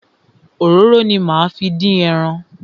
Òróró ni máa fi dín ẹran.